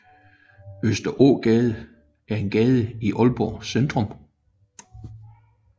Østerågade er en gade i Aalborg Centrum